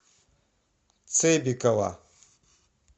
цебекова